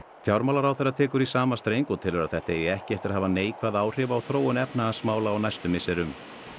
fjármálaráðherra tekur í sama streng og telur þetta eigi ekki eftir hafa neikvæð áhrif á þróun efnahagsmála á næstu misserum